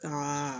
Ka